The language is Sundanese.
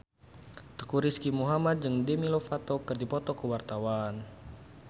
Teuku Rizky Muhammad jeung Demi Lovato keur dipoto ku wartawan